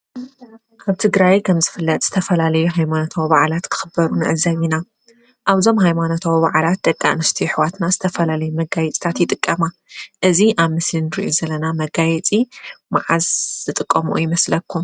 ኣብ ትግራይ ከም ዝፍለጥ ዝተፈላለዩ ሃለማኖታዊ በዓላት ክክበሩ ንዕዘብ ኢና፡፡ ኣብ እዞም ሃይማኖታዊ በዓላት ደቂ ኣነስትዮ ኣሕዋትና ዝተፈላለዩ መጋየፅታት ይጥቀማ፡፡ እዚ ኣብ ምስሊ እንሪኦ ዘለና መጋየፂ ማዓዝ ይጥቀምኦ ይመስለኩም?